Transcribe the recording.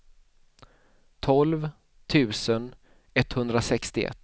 tolv tusen etthundrasextioett